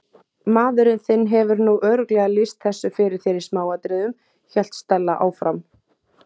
Maðurinn þinn hefur nú örugglega lýst þessu fyrir þér í smáatriðum- hélt Stella áfram.